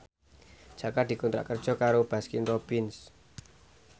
Jaka dikontrak kerja karo Baskin Robbins